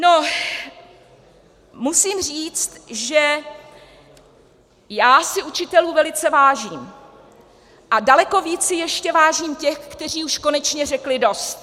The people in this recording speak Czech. No, musím říct, že já si učitelů velice vážím, a daleko víc si ještě vážím těch, kteří už konečně řekli dost.